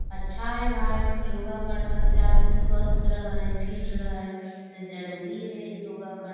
अच्छा हैं भई योगा कर ला से आदमी स्वास्थ रह हई फिट रहा हई त जरुरी हई योगा कर--